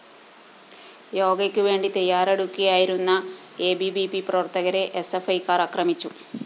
യോഗയ്ക്കുവേണ്ടി തയ്യാറെടുക്കുകയായിരുന്ന A B V P പ്രവര്‍ത്തകരെ എസ്എഫ്‌ഐക്കാര്‍ ആക്രമിച്ചു